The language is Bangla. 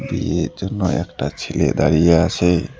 বিয়ের জন্য একটা ছেলে দাঁড়িয়ে আছে।